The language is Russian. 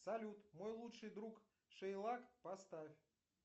салют мой лучший друг шейлак поставь